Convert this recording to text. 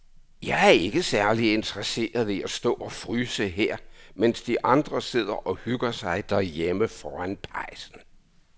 Jeg er ikke særlig interesseret i at stå og fryse her, mens de andre sidder og hygger sig derhjemme foran pejsen.